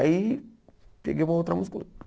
Aí, peguei uma outra música e coloquei.